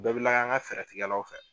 bɛɛ bi layɛ an ka fɛɛrɛ tigɛlaw fɛ.